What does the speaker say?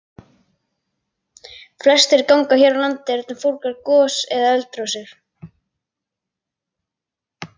Flestir gangar hér á landi eru fornar gos- eða eldrásir.